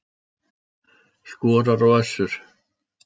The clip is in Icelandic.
Skorar á Össur